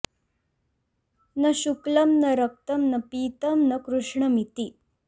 न शुक्लं न रक्तं न पीतं न कृष्णमिति